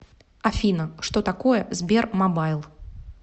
афина что такое сбермобайл